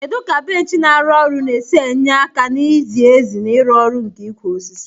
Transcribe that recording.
Kedu ka bench na-arụ ọrụ na-esi enye aka na izi ezi na ịrụ ọrụ nke ịkwa osisi?